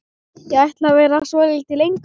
Ég ætla að vera svolítið lengur.